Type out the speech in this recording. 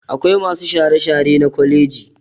Akwai masu share-share na kwaleji